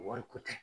Wariko tɛ